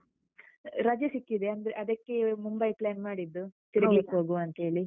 ರಜೆ ಸಿಕ್ಕಿದೆ. ಅಂದ್ರೆ ಅದಕ್ಕೆವೆ ಮುಂಬೈ plan ಮಾಡಿದ್ದು. ತಿರುಗ್ಲಿಕ್ ಹೋಗ್ವಾಂತೇಳಿ.